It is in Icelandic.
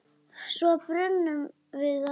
Svo brunum við af stað.